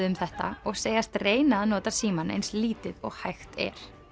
um þetta og segjast reyna að nota símann eins lítið og hægt er